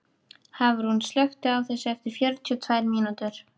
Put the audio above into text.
Hafrún, slökktu á þessu eftir fjörutíu og tvær mínútur.